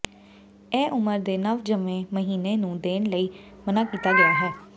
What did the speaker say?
ਇਹ ਉਮਰ ਦੇ ਨਵਜੰਮੇ ਮਹੀਨੇ ਨੂੰ ਦੇਣ ਲਈ ਮਨ੍ਹਾ ਕੀਤਾ ਗਿਆ ਹੈ